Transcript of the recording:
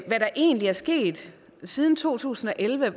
der egentlig er sket siden to tusind og elleve